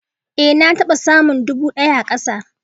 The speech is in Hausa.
Ée na taɓa samun dubu daya a kasa